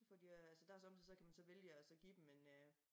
Hvor de øh så der sommetider så kan man så vælge at så give dem en øh